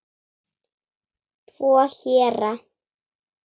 Tvo héra